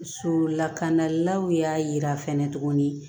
So lakanalilaw y'a yira fɛnɛ tuguni